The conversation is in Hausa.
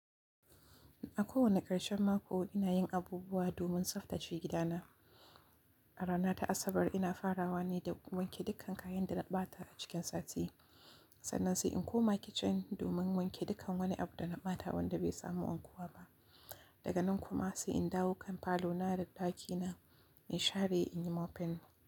A kowane ƙarshen mako ina yin abubuwa domin tsaftace gidana. A rana ta Asabar ina farawa ne da wanke dukkan kayan da na ɓata a cikin sati. Sannan sai in koma kicin domin wanke dukkan wani abu da na bata wanda bai samu wankuwa ba. Daga nan kuma sai in dawo kan falo na da ɗaki na in share in yi moping.